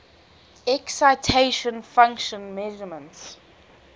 excitation function measurements